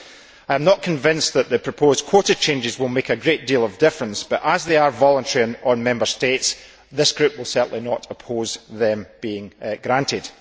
I am not convinced that the proposed quota changes will make a great deal of difference but, as they are voluntary on Member States, this group will certainly not oppose them being granted.